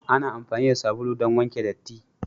Ana amfani da sabulu don wanke datti.